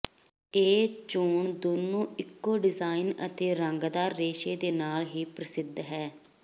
ਇਹ ਚੋਣ ਦੋਨੋ ਇਕੋ ਡਿਜ਼ਾਈਨ ਅਤੇ ਰੰਗਦਾਰ ਰੇਸ਼ੇ ਦੇ ਨਾਲ ਹੀ ਪ੍ਰਸਿੱਧ ਹੈ